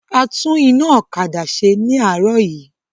A tún iná ọ̀kadà ṣe ní àárọ̀ yìí